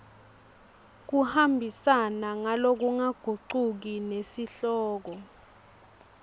kuhambisana ngalokungagucuki nesihloko